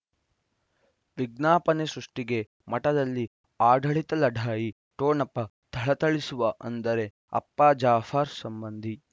ವಿಜ್ಞಾಪನೆ ಸೃಷ್ಟಿಗೆ ಮಠದಲ್ಲಿ ಆಡಳಿತ ಲಢಾಯಿ ಠೊಣಪ ಥಳಥಳಿಸುವ ಅಂದರೆ ಅಪ್ಪ ಜಾಫರ್ ಸಂಬಂಧಿ